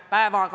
Suur aitäh!